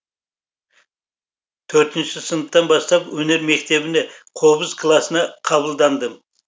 төртінші сыныптан бастап өнер мектебіне қобыз классына қабылдандым